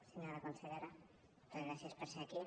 senyora consellera moltes gràcies per ser aquí